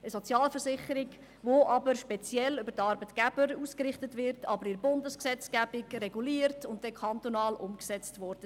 Es handelt sich um eine Sozialversicherung, welche jedoch speziell auf die Arbeitgeber ausgerichtet ist, in der Bundesgesetzgebung reguliert und dann kantonal umgesetzt wird.